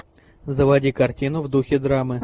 заводи картину в духе драмы